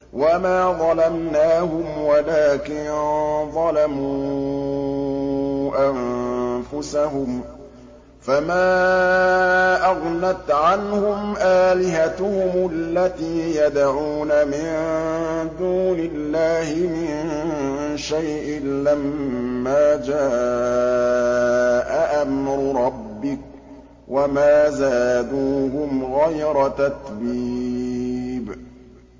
وَمَا ظَلَمْنَاهُمْ وَلَٰكِن ظَلَمُوا أَنفُسَهُمْ ۖ فَمَا أَغْنَتْ عَنْهُمْ آلِهَتُهُمُ الَّتِي يَدْعُونَ مِن دُونِ اللَّهِ مِن شَيْءٍ لَّمَّا جَاءَ أَمْرُ رَبِّكَ ۖ وَمَا زَادُوهُمْ غَيْرَ تَتْبِيبٍ